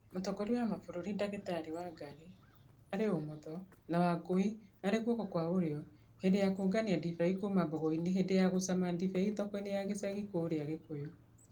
Mũtongoria wa mabũrũri dakitari Wangari (ũmotho) na Wangũi (gũoko kwa ũrio) hindi ya kũngania ndibei kuma mbogoini hindi ya gũcama ndibei thokoini ya gicagi kũũria Gikũyũ